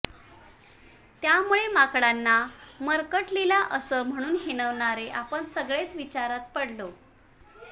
त्यामुळे माकडांना मर्कटलीला असं म्हणून हिणवणारे आपण सगळेच विचारात पडलो